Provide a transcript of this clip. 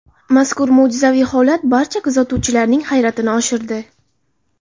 Mazkur mo‘jizaviy holat barcha kuzatuvchilarining hayratini oshirdi.